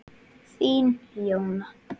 Þín, Jóna.